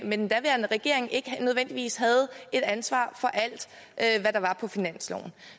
med den daværende regering ikke nødvendigvis havde et ansvar for alt hvad der var på finansloven